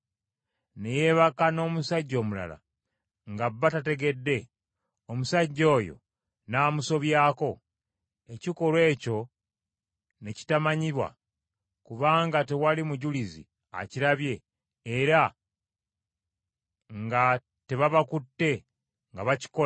ne yeebaka n’omusajja omulala nga bba tategedde, omusajja oyo n’amusobyako, ekikolwa ekyo ne kitamanyibwa, kubanga tewali mujulizi akirabye era nga tebabakutte nga bakikola;